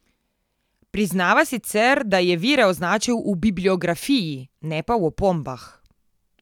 Priznava sicer, da je vire označil v bibliografiji, ne pa v opombah.